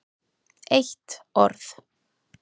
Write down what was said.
eitt orð!